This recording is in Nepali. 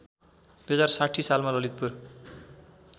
२०६० सालमा ललितपुर